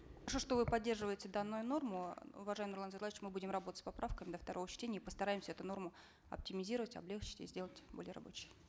что вы поддерживаете данную норму уважаемый нурлан зайроллаевич мы будем работать с поправками до второго чтения и постараемся эту норму оптимизировать облегчить и сделать более рабочей